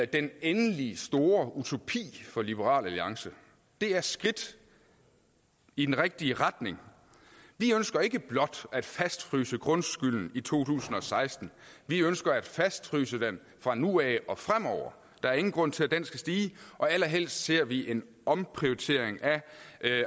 den endelige store utopi for liberal alliance det er skridt i den rigtige retning vi ønsker ikke blot at fastfryse grundskylden i to tusind og seksten vi ønsker at fastfryse den fra nu af og fremover der er ingen grund til at den skal stige og allerhelst ser vi en omprioritering af